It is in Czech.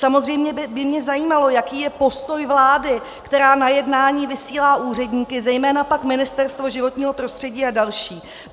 Samozřejmě by mě zajímalo, jaký je postoj vlády, která na jednání vysílá úředníky, zejména pak Ministerstvo životního prostředí a další.